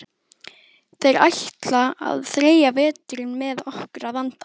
Þeir ætla að þreyja veturinn með okkur að vanda.